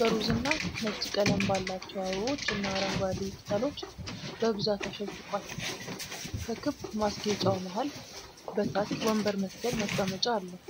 በሮዝና ነጭ ቀለም ባላቸው አበቦችና አረንጓዴ ቅጠሎች በብዛት አሸብርቋል። ከክብ ማስጌጫው መሃል በታች ወንበር መሰል መቀመጫ አለው።